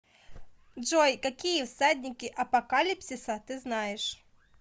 джой какие всадники апокалипсиса ты знаешь